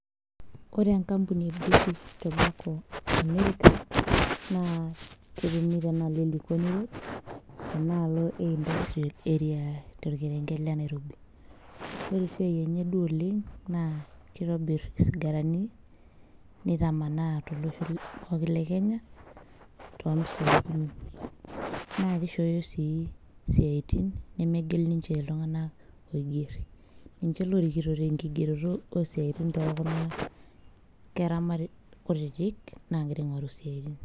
Ore enkampuni naa ketumi Tenalo ee industrial area ee Nairobi ore esiai enye oleng naa kitobir esigarani nitaman tolosho le Kenya naa kishooyo esiatin nemegel iltung'ana oiger ninche orikito tenkigeroto oo siatin tolosho lee Kenya etii enkera kutiti nagira aingorua esiatin